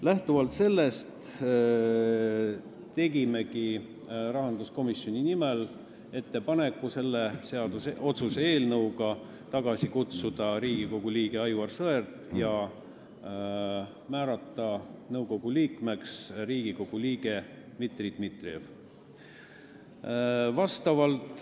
Lähtuvalt sellest tegimegi rahanduskomisjoni nimel ettepaneku kutsuda selle otsuse eelnõuga tagasi Riigikogu liige Aivar Sõerd ja määrata nõukogu liikmeks Riigikogu liige Dmitri Dmitrijev.